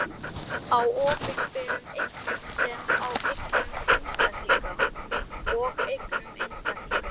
Skemmdarverk á opinberum eignum sem og eignum einstaklinga.